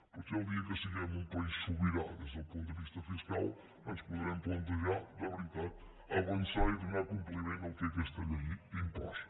potser el dia que siguem un país sobirà des del punt de vista fiscal ens podrem plantejar de veritat avançar i donar compliment al que aquesta llei imposa